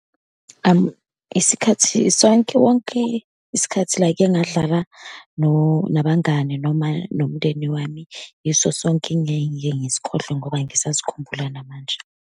Isikhathi sonke wonke, isikhathi la-ke ngadlala nabangani noma nomndeni wami, yiso sonke engiyengike ngisikhohlwe ngoba ngisasikhumbula namanje.